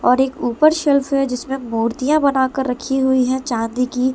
और एक ऊपर शेल्फ है जिसमें मूर्तियां बनाकर रखी हुई है चांदी की----